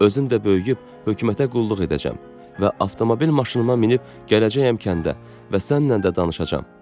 Özüm də böyüyüb hökumətə qulluq edəcəyəm və avtomobil maşınıma minib gələcəyəm kəndə və səninlə də danışacağam.